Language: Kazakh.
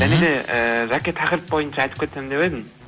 және де ыыы жәке тақырып бойынша айтып кетсем деп едім